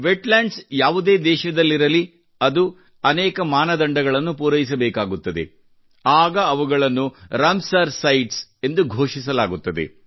wetlands ಯಾವುದೇ ದೇಶದಲ್ಲಿರಲಿ ಅದು ಅನೇಕ ಮಾನದಂಡಗಳನ್ನು ಪೂರೈಸಬೇಕಾಗುತ್ತದೆ ಆಗ ಅವುಗಳನ್ನು ರಾಮಸರ್ ಸೈಟ್ಸ್ ಎಂದು ಘೋಷಿಸಲಾಗುತ್ತದೆ